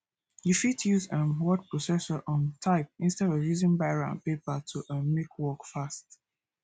you fit use um word processor um type instead of using biro and paper to um make work fast